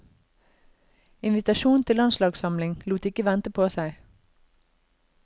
Invitasjon til landslagssamling lot ikke vente på seg.